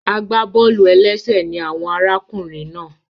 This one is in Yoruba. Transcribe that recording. Agbábọ́ọlù-ẹlẹ́sẹ̀ ní àwọn arákùnrin náà